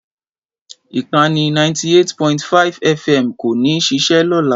Ìkànnì 98.5 FM kò ní ṣiṣẹ́ lọ́la.